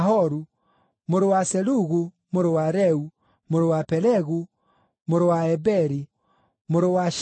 mũrũ wa Serugu, mũrũ wa Reu, mũrũ wa Pelegu, mũrũ wa Eberi, mũrũ wa Shela,